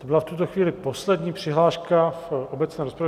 To byla v tuto chvíli poslední přihláška v obecné rozpravě.